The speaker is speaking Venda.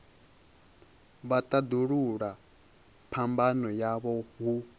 vha tandulula phambano yavho hu